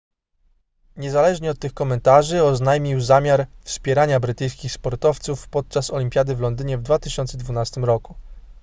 niezależnie od tych komentarzy oznajmił zamiar wspierania brytyjskich sportowców podczas olimpiady w londynie w 2012 roku